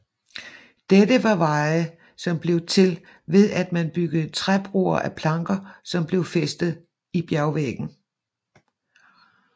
Dette var veje som blev til ved at man byggede træbroer af planker som blev fæstet i bjergvæggen